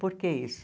Por que isso?